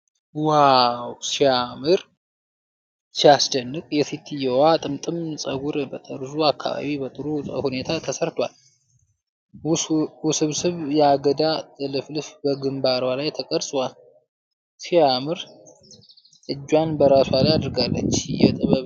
ዋው! ሲያስደንቅ! የሴትየዋ ጥምጥም ፀጉር በጠርዙ አካባቢ በጥሩ ሁኔታ ተሰርቷል። ውስብስብ የአገዳ ጥልፍልፍ በግምባሯ ላይ ተቀርጿል። ሲያምር! እጇን በራሷ ላይ አድርጋለች። የጥበብና የውበት ሥራ!